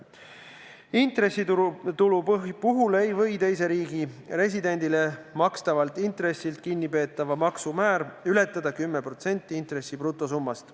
Intressitulu puhul ei või teise riigi residendile makstavalt intressilt kinnipeetava maksu määr ületada 10% intressi brutosummast.